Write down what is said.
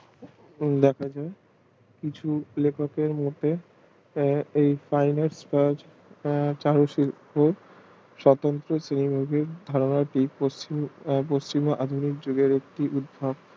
দেখা যায় কিছু লেখককের মুখে চারু শিল্প পশ্চিমে একটি উদ্ভব